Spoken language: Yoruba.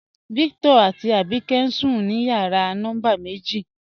Víctọ̀r àtí Àbíkẹ̀ ǹ sùn ní yàrà nọ́mbà mẹ̀jì.